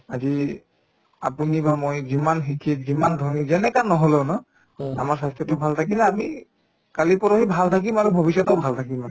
আজি আপুনি বা মই যিমান শিক্ষিত যিমান ধনী যেনেকা নহলেও ন আমাৰ স্বাস্থ্যতো ভাল থাকিলে আমি কালি পৰহি ভাল থাকিম আৰু ভবিষ্যতেও ভাল থাকিম